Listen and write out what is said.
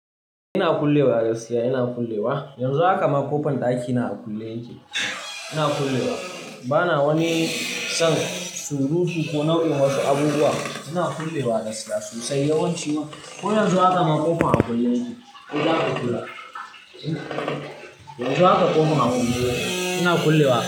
Ina kullewa, gaskiya ina kullewa. Yanzu haka ma ƙofan ɗaki na a kulle yake. Ina kullewa. Bana wani san surutu ko nau'in wasu abubuwa. Ina kullewa gaskiya sosai yawanci ko yanzu haka ma ƙofan a kulle yake. Yanzu haka ƙofan a kulle yake. Ina kullewa.